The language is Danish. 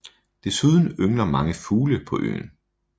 Desuden yngler mange fugle på øen